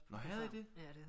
Nå havde I det